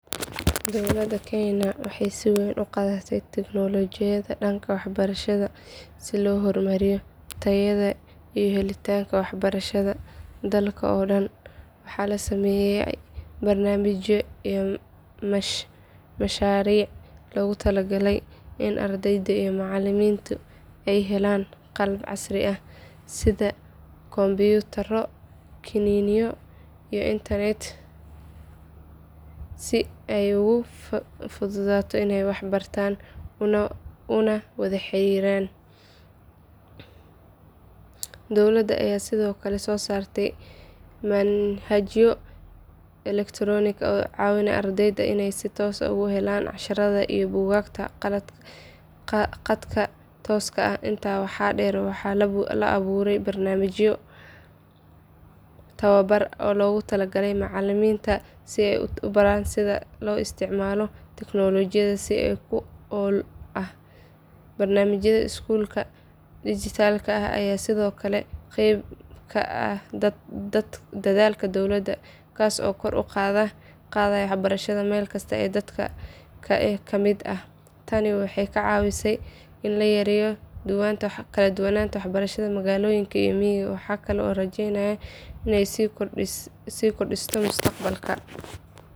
Dowlada kenya waxay si weyn uqadate teknolojiyada danka waxbarashada si lohormariyo tayada iyo helitanka wax barashada, dalka oo dan dalka oo dan waxa lasameye barnamijyo iyo masharic logu talagaley in ardeyda iyo macaliminta aay helan qalab casri ah sidha compitaro, kaniniyo iyoh internet sii ay ugufudato, inay wax bartan uwada xariran dowlada aya sidiokale sosarte malin xajiyo electronic oo cawinayo ardeyda inay si tos ah ogahelan cashirada iyo bugagta qadka toska ah inta waxa der waxa laa aburey barnamijyo tawabar oo logu talagaley macaliminta sii ay ubaran sidha loo istacmalo teknolojiada si ku al ah barnajimada skulka digitalka ah aya sidiokale qeyb kaah dadhalka dowlada, tasi oo kor uqadayah waxbarashada melkista aay dadka kamid ah waxay kacawise ini layereyo kaladuwanta baxbarashada magaloyinka iyo migaa waxa kale oo an rajenaya ini si kordisto mustacmalka.